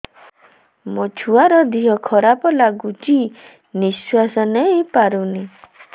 ମୋ ଛୁଆର ଦିହ ଖରାପ ଲାଗୁଚି ନିଃଶ୍ବାସ ନେଇ ପାରୁନି